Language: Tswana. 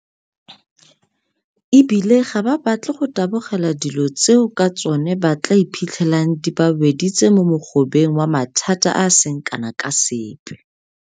E bile gape ga ba batle go tabogela dilo tseo ka tsona ba tla iphitlhelang di ba weditse mo mogobeng wa mathata a a seng kana ka sepe.